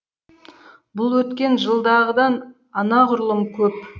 бұл өткен жылдағыдан анағұрлым көп